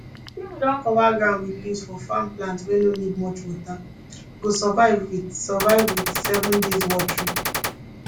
if you don cover ground with leaves for farm plant wey no need much water go survive with survive with seven days watering